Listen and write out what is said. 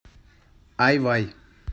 ай вай